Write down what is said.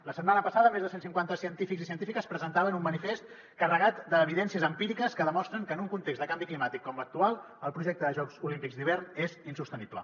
la setmana passada més de cent cinquanta científics i científiques presentaven un manifest carregat d’evidències empíriques que demostren que en un context de canvi climàtic com l’actual el projecte de jocs olímpics d’hivern és insostenible